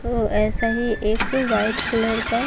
ऐसा ही एक वाइट कलर का--